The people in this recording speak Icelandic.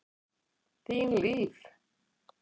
Þín Líf.